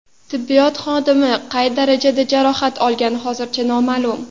Tibbiyot xodimi qay darajada jarohat olgani hozircha noma’lum.